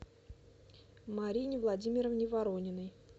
марине владимировне ворониной